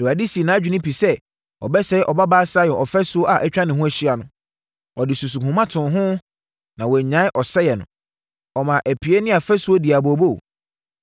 Awurade sii nʼadwene pi sɛ ɔbɛsɛe Ɔbabaa Sion ɔfasuo a atwa ne ho ahyia no. Ɔde susuhoma too ho na wannyae ɔsɛeɛ no. Ɔmaa apie ne afasuo dii abooboo;